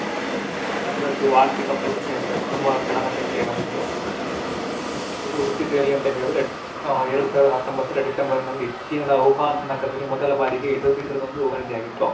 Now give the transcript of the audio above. ಅದ್ರದ್ದು ಆರ್ಥಿಕ ಪರಿಸ್ಥಿತಿ ಏನಿದೆ ತುಂಬಾ ಕೆಳಮಟ್ಟಕ್ಕೆ ಬಂದಿತ್ತು. ಇದು ಹುಟ್ಟಿದ್ದು ಎಲ್ಲಿ ಅಂತ ಹೇಳಿದ್ರೆ ಆ ಎರಡು ಸಾವಿರದ ಹತ್ತೊಂಬತ್ತರಲ್ಲಿ December ನಲ್ಲಿ ಚೀನಾದ ವುಹಾನ್ ನಗರದಲ್ಲಿ ಮೊದಲ ಬಾರಿಗೆ ಇದು ಇದ್ರದೊಂದು ವರದಿಯಾಗಿತ್ತು.